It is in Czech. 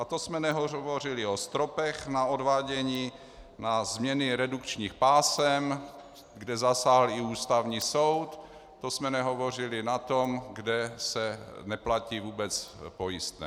A to jsme nehovořili o stropech na odvádění, na změny redukčních pásem, kde zasáhl i Ústavní soud, to jsme nehovořili o tom, kde se neplatí vůbec pojistné.